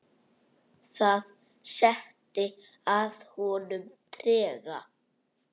Það setti að honum trega.